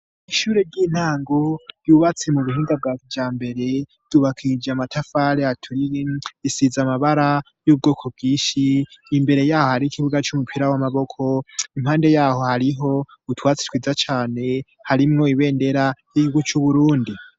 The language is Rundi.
Mwishure ry'intango yubatsi mu bihinga bwa bya mbere tubakije amatafale atulin isiza amabara y'ubwoko bwishi imbere yaho hari ikibuga cy'umupira w'amaboko impande yaho hariho utwatsi twiza cyane harimwo ibendera y'igihugu c'UBURUNDI.